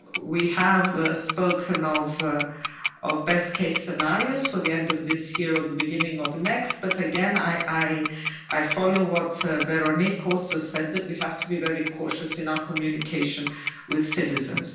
We have spoken of best case scenarios for the end of this year or the beginning of the next, but again I follow what Véronique Trillet Lenoir also said that we have to be very cautious in our communication with citizens.